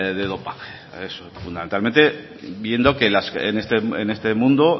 de dopaje eso fundamentalmente viendo que en este mundo